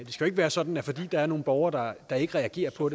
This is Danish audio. jo ikke være sådan at fordi der er nogle borgere der ikke reagerer på